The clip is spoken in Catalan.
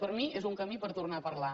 per a mi és un camí per tornar a parlar